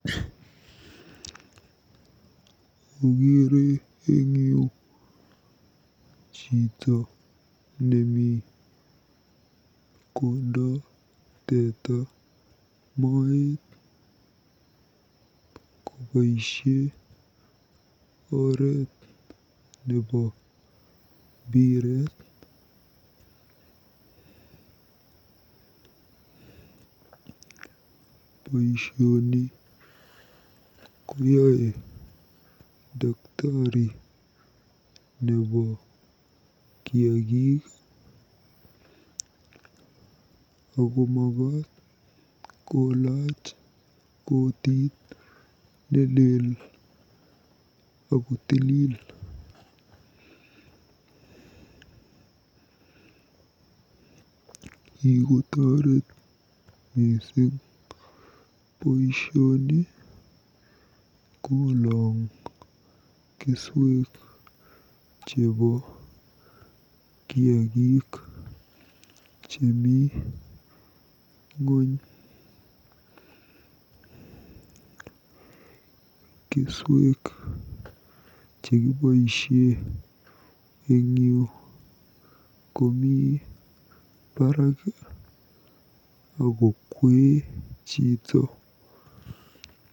Akeere eng yu chito nemi kondoi teta moet koboisie oreet nebo mbiret. Boisioni koyae daktari nebo kiagik akomakaat kolaach kotit nelel akotilil. Kikotoret mising boisioni kolong keswek chebo kiagik chemi ng'ony. Keswek chekiboisie eng yu komi baraak akokwee chito.